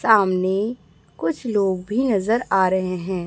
सामने कुछ लोग भी नजर आ रहे हैं।